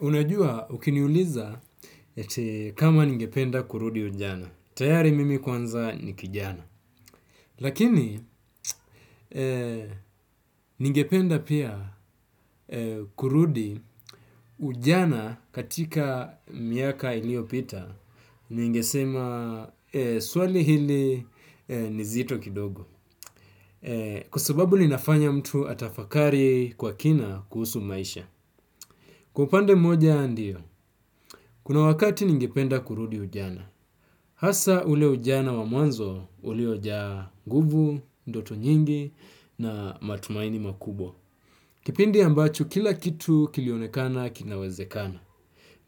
Unajua ukiniuliza eti kama ningependa kurudi ujana. Tayari mimi kwanza ni kijana. Lakini ningependa pia kurudi ujana katika miaka iliopita. Ningesema swali hili ni zito kidogo. Kwa sababu linafanya mtu atafakari kwa kina kuhusu maisha. Kwa upande mmoja ndio. Kuna wakati ningependa kurudi ujana. Hasa ule ujana wa mwanzo uliojaa nguvu, ndoto nyingi na matumaini makubwa. Kipindi ambacho kila kitu kilionekana kinawezekana.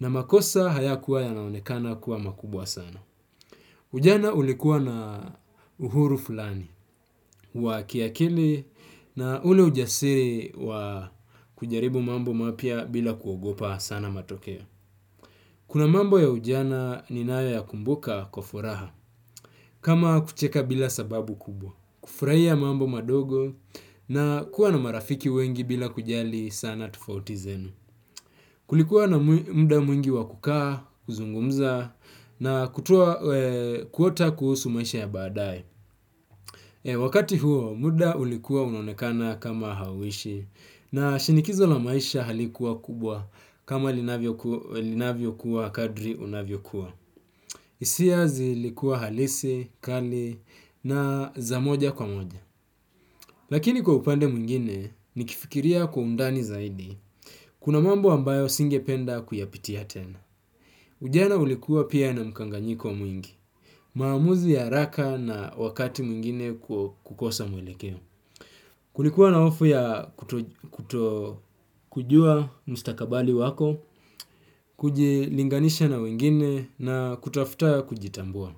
Na makosa hayakuwa yanaonekana kuwa makubwa sana. Ujana ulikuwa na uhuru fulani wa kiakili na ule ujasiri wa kujaribu mambo mapya bila kuogopa sana matokeo. Kuna mambo ya ujana ninayo yakumbuka kwa furaha. Kama kucheka bila sababu kubwa, kufraia mambo madogo na kuwa na marafiki wengi bila kujali sana tofauti zenu. Kulikuwa na mda mwingi wa kukaa, kuzungumza na kutoa kuota kuhusu maisha ya baadae. Wakati huo, muda ulikuwa unaonekana kama hauishi na shinikizo la maisha halikuwa kubwa kama linavyokuwa kadri unavyokua. Isia zilikuwa halisi, kali na za moja kwa moja. Lakini kwa upande mwingine, nikifikiria kwa undani zaidi. Kuna mambo ambayo singependa kuyapitia tena. Ujiana ulikuwa pia na mkanganyiko mwingi. Maamuzi ya araka na wakati mwingine kukosa mwelekeo. Kulikuwa na hofu ya kutokujua mstakabali wako, kujilinganisha na wengine na kutafuta kujitambua.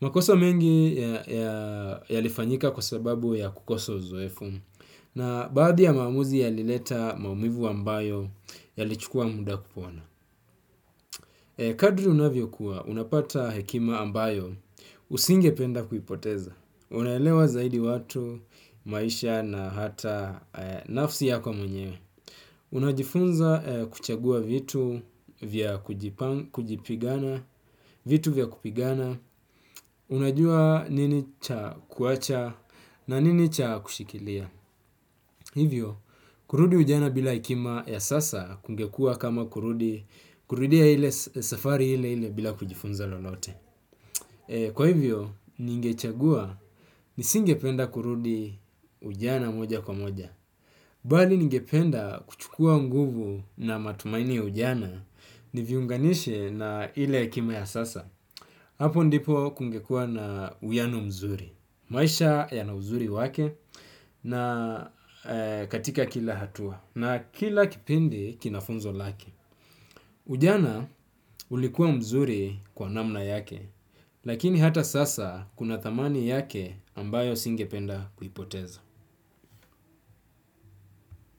Makosa mengi yalifanyika kwa sababu ya kukosa uzoefu na baadhi ya maaamuzi yalileta maumivu ambayo yalichukua mda kupona. Kadri unavyokua, unapata hekima ambayo usingependa kuipoteza. Unaelewa zaidi watu, maisha na hata nafsi yako mwenye. Unajifunza kuchagua vitu vya kujipigana, vitu vya kupigana. Unajua nini cha kuacha na nini cha kushikilia. Hivyo, kurudi ujana bila hekima ya sasa kungekua kama kurudia ile safari ile ile bila kujifunza lolote. Kwa hivyo, ningechagua nisingependa kurudi ujana moja kwa moja. Bali ningependa kuchukua nguvu na matumaini ya ujana niviunganishe na ile hekima ya sasa. Hapo ndipo kungekua na uiano mzuri, maisha yana uzuri wake na katika kila hatua, na kila kipindi kina funzo lake. Ujana ulikuwa mzuri kwa namna yake, lakini hata sasa kuna thamani yake ambayo singependa kuipoteza.